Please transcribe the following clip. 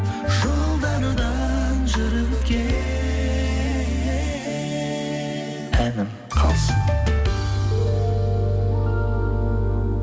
жолдардан жүріп өткен әнім қалсын